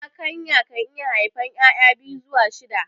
Zakayan kan iya haifan ƴaƴa biyu zuwa shida